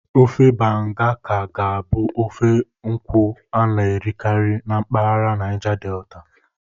Ofe Banga ka ga-abụ ofe nkwụ a na-erikarị na mpaghara Naija Delta.